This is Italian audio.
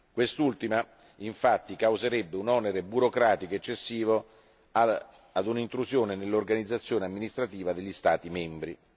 Quest'ultima, infatti, causerebbe un onere burocratico eccessivo e un'intrusione nell'organizzazione amministrativa degli Stati membri.